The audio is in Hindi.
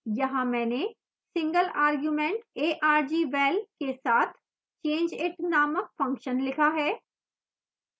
यहाँ मैंने single argument argval के साथ changeit named function लिखा है